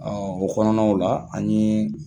o kɔnɔnaw la ani